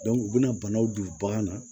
u bɛna banaw don bagan na